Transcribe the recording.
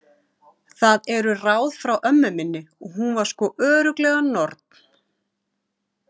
Það eru ráð frá ömmu minni og hún var sko örugglega norn